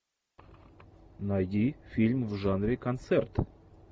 найди фильм в жанре концерт